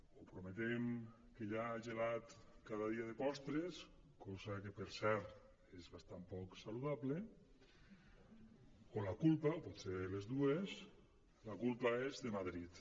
o prometem que hi ha gelat cada dia de postres cosa que per cert és bastant poc saludable o la culpa potser les dues la culpa és de madrid